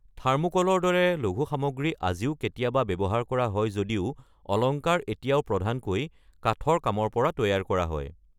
থাৰ্মোকলৰ দৰে লঘু সামগ্ৰী আজিও কেতিয়াবা ব্যৱহাৰ কৰা হয় যদিও অলংকাৰ এতিয়াও প্ৰধানকৈ কাঠৰ কামৰ পৰা তৈয়াৰ কৰা হয়।